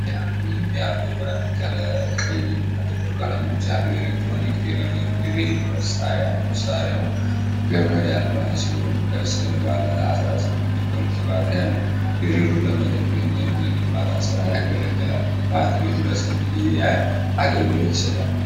የያቶ (ያቶ) ብራንድ ቀይ እና ጥቁር ቀለሞች ያለው የኤሌክትሪክ ድሪል (ድሪል) መሳሪያ። መሳሪያው ገመድ አልባ ሲሆን ከስር ባለ 18 ቮልት ባትሪ አለው። ድሪሉ ለመጠገን ወይም ለግንባታ ስራ ያገለግላል። ባትሪው ለስንት ጊዜ ያህል አገልግሎት ይሰጣል?